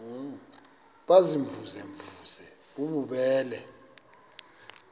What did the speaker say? baziimvuze mvuze bububele